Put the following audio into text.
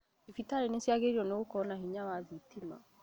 Thibitari niciagiriirwo ni gukorwo na hinya wa thitima